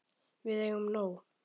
Við eigum nóg.